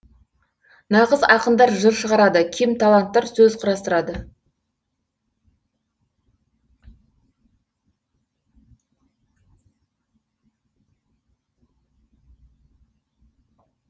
нағыз ақындар жыр шығарады кем таланттар сөз құрастырады